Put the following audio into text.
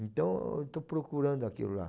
Então, eu estou procurando aquilo lá.